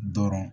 Dɔrɔn